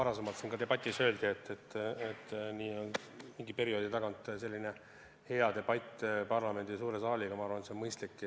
Nagu siin debatis enne öeldi, mingi perioodi tagant selline debatt parlamendi suures saalis on mõistlik.